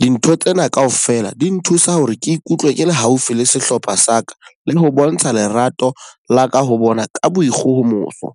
Dintho tsena ka ofela di nthusa hore ke ikutlwe ke le haufi le sehlopha sa ka le ho bontsha lerato la ka ho bona ka boikgohomoso.